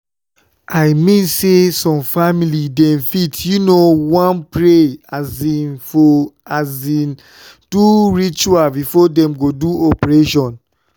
i mean say some family dem fit u know want pray um or um do ritual before dem go do operation.